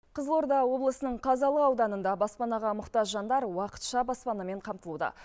қызылорда облысының қазалы ауданында баспанаға мұқтаж жандар уақытша баспанамен қамтылуда